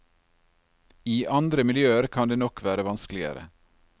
I andre miljøer kan det nok være vanskeligere.